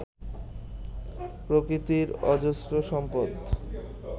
প্রকৃতির অজস্র সম্পদ